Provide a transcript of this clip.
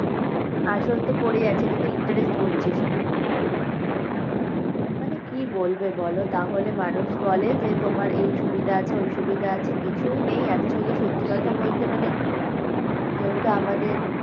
আসল তো পরেই আছে এটা তো interest গুনছে শুধু মানে কি বলবে বলো তাহলে মানুষ বলে যে তোমার এই সুবিধা আছে ওই সুবিধা আছে কিছুই নেই actually সত্যি কথা বলতে মানে যেহেতু আমাদের